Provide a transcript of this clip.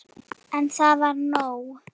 En það var nóg.